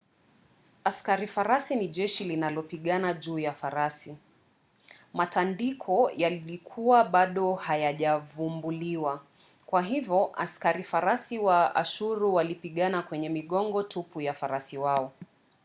askari farasi ni jeshi linalopigana juu ya farasi. matandiko yalikuwa bado hayajavumbuliwa kwa hivyo askari farasi wa ashuru walipigana kwenye migongo tupu ya farasi wao